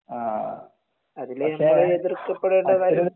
ആഹ് പക്ഷെ അത്രേം